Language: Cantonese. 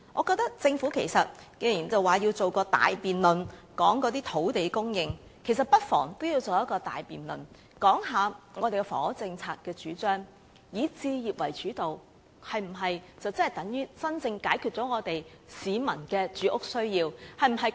既然政府表示要舉行大辯論，討論土地供應，其實不妨也舉行一個大辯論討論房屋政策，是否以置業為主導，便等於真正解決市民的住屋需要？